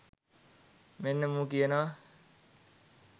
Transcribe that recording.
මෙන්න මූ කියනව